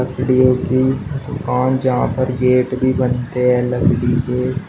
लकड़ियों की दुकान जहां पर गेट भी बनते हैं लकड़ी के--